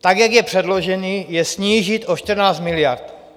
Tak jak je předložen, je snížit o 14 miliard.